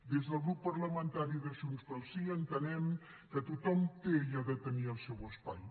des del grup parlamentari de junts pel sí entenem que tothom té i ha de tenir el seu espai